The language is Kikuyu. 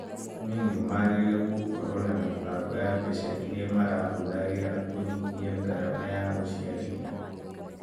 Arĩmi nĩ magĩrĩirũo gũkorũo na mĩbango ya mbeca iria marihũthagĩra kũnyihia ngarama ya gũciarithia.